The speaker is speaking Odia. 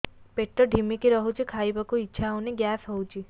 ପେଟ ଢିମିକି ରହୁଛି ଖାଇବାକୁ ଇଛା ହଉନି ଗ୍ୟାସ ହଉଚି